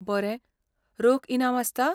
बरें, रोख इनाम आसता?